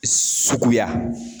Suguya